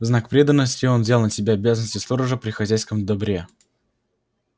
в знак преданности он взял на себя обязанности сторожа при хозяйском добре